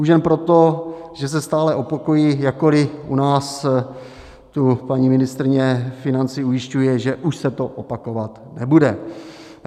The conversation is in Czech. Už jen proto, že se stále opakují, jakkoli u nás tu paní ministryně financí ujišťuje, že už se to opakovat nebude.